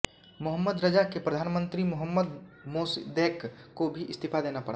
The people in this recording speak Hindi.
मोहम्मद रज़ा के प्रधानमन्त्री मोहम्मद मोसद्देक़ को भी इस्तीफ़ा देना पड़ा